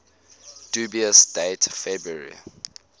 dubious date february